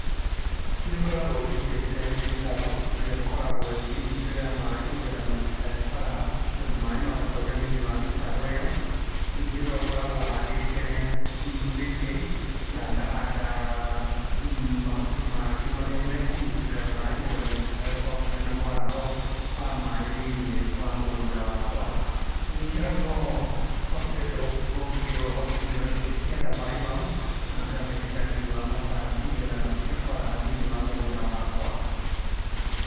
Nĩngoragwo nyenjete mĩtaro, ĩrĩa ĩkoragwo ĩkĩnyitĩrĩra maĩ nĩgetha matikae kwaraha, maĩ magatonya thĩ-inĩ wa mĩtaro ĩyo, ningĩ no ngoragwo handĩte mĩtĩ, na ngahanda mahuti mangĩ marĩa mekũnyitĩrĩra maĩ nĩgetha gũtikae gũkorwo kũrĩ na mwaraho wa maĩ thĩ-inĩ wa mũgũnda wakwa. Ningĩ hau noho hotete gũkorwo ngĩgetha maĩ mau, na ngamekĩra thĩ-inĩ wa matangi, nĩgetha matige kwaraha thĩ-inĩ wa mũgũnda wakwa.